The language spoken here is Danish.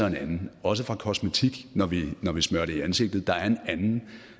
en anden også fra kosmetik når vi smører det i ansigtet er der en anden